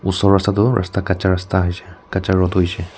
rasta tho rasta kacha rasta aishe kacha road hoishae.